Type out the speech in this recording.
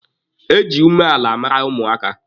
E ji umeala mara ụmụaka.